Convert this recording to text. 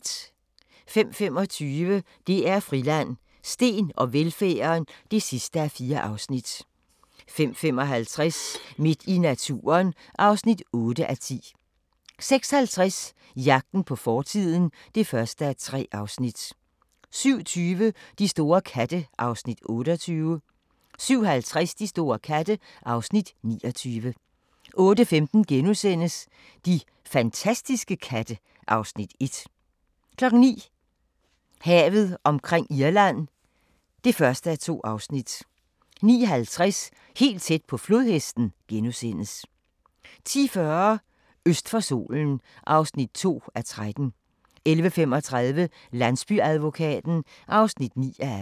05:25: DR Friland: Steen og velfærden (4:4) 05:55: Midt i naturen (8:10) 06:50: Jagten på fortiden (1:3) 07:20: De store katte (Afs. 28) 07:50: De store katte (Afs. 29) 08:15: De fantastiske katte (Afs. 1)* 09:00: Havet omkring Irland (1:2) 09:50: Helt tæt på flodhesten * 10:40: Øst for solen (2:13) 11:35: Landsbyadvokaten (9:18)